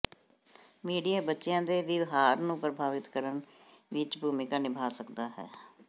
media ਬੱਚਿਆਂ ਦੇ ਵਿਵਹਾਰ ਨੂੰ ਪ੍ਰਭਾਵਿਤ ਕਰਨ ਵਿਚ ਭੂਮਿਕਾ ਨਿਭਾ ਸਕਦਾ ਹੈ